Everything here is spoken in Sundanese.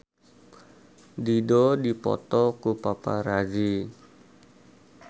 Dido dipoto ku paparazi